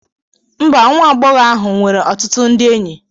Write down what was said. Mba, nwa agbọghọ ahụ nwere ọtụtụ ndị enyi.